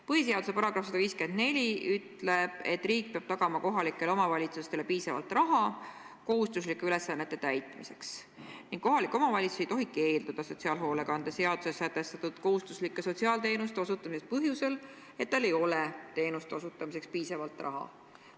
Põhiseaduse § 154 ütleb, et riik peab tagama kohalikele omavalitsustele piisavalt raha kohustuslike ülesannete täitmiseks ning kohalik omavalitsus ei tohi keelduda sotsiaalhoolekande seaduses sätestatud kohustuslike sotsiaalteenuste osutamisest põhjusel, et tal ei ole teenuste osutamiseks piisavalt raha.